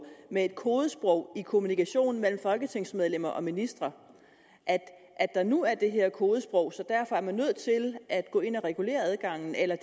med et kodesprog i kommunikationen mellem folketingsmedlemmer og ministre at der nu er det her kodesprog så man derfor er nødt til at gå ind og regulere adgangen eller